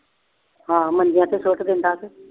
ਹਾਂ ਮੰਜਿਆਂ ਤੇ ਸੁੱਟ ਦਿੰਦਾ ਤੇ।